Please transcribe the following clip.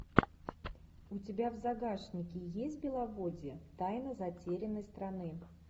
у тебя в загашнике есть беловодье тайна затерянной страны